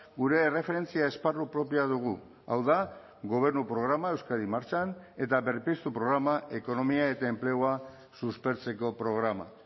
gure erreferentzia esparru propioa dugu hau da gobernu programa euskadi martxan eta berpiztu programa ekonomia eta enplegua suspertzeko programa